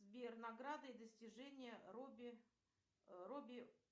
сбер награды и достижения робби робби